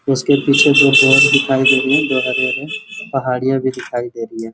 उस के पीछे में दो बॉल दिखाई दे रही है जो हरे - हरे पहाड़िया भी दिखाई दे रही है।